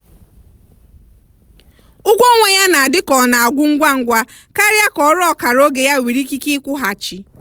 ụgwọ ọnwa ya na-adị ka ọ na-agwụ ngwa ngwa karịa ka ọrụ ọkara oge ya nwere ikike ịkwụghachi.